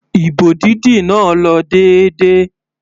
Ìbò dídì náà lọ déédéé.